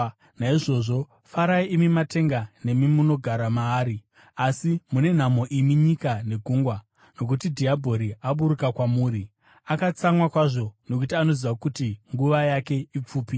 Naizvozvo farai, imi matenga nemi munogara maari! Asi mune nhamo imi nyika negungwa, nokuti dhiabhori aburuka kwamuri! Akatsamwa kwazvo, nokuti anoziva kuti nguva yake ipfupi.”